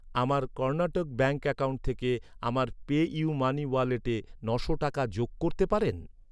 আমার Karnataka bank account থেকে আমার পে.ইউ.মানি ওয়ালেটে ন'শো টাকা যোগ করতে পারেন?